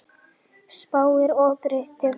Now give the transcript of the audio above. Spáir óbreyttum vöxtum